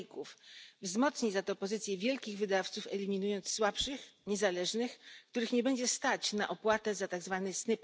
faków, wzmocni za to pozycję wielkich wydawców eliminując słabszych, niezależnych, których nie będzie stać na opłatę za tzw.